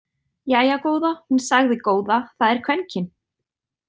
Jæja góða, hún sagði góða, það er kvenkyn!